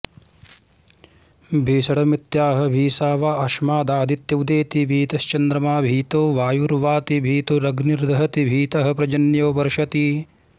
भीषणमित्याह भीषा वा अस्मादादित्य उदेति भीतश्चन्द्रमा भीतो वायुर्वाति भीतोऽग्निर्दहति भीतः पर्जन्यो वर्षति